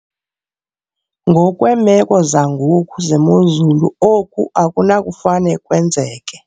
Ngokweemeko zangoku zemozulu, oku akunakufane kwenzeke.